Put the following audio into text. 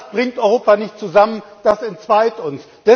Das bringt Europa nicht zusammen, das entzweit